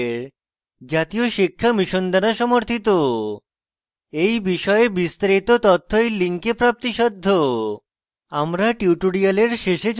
এই বিষয়ে বিস্তারিত তথ্য এই link প্রাপ্তিসাধ্য